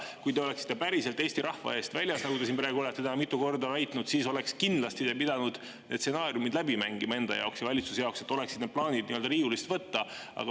Kui te oleksite päriselt Eesti rahva eest väljas, nagu te olete siin täna mitu korda väitnud, siis oleks te kindlasti pidanud need stsenaariumid läbi mängima enda ja valitsuse jaoks, et oleksid need plaanid riiulist võtta.